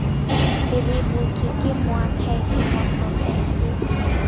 rebotswe ke moakhaefe wa porofense